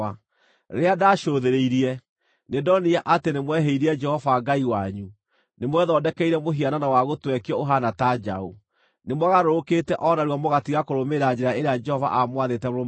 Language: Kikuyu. Rĩrĩa ndaacũthĩrĩirie, nĩndonire atĩ nĩmwehĩirie Jehova Ngai wanyu; nĩ mwethondekeire mũhianano wa gũtwekio ũhaana ta njaũ. Nĩmwagarũrũkĩte o narua mũgatiga kũrũmĩrĩra njĩra ĩrĩa Jehova aamwathĩte mũrũmagĩrĩre.